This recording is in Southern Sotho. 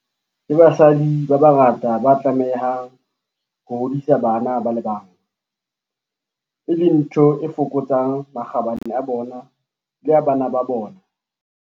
Ke basadi ba bangata ba tlamehang ho hodisa bana ba le bang, e leng ntho e fokotsang makgabane a bona le a bana ba bona.